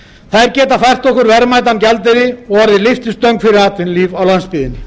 þær geta fært okkur verðmætan gjaldeyri og orðið lyftistöng fyrir atvinnulíf á landsbyggðinni